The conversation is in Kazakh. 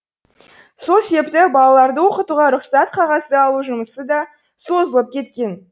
сол себепті балаларды оқытуға рұқсат қағазды алу жұмысы да созылып кеткен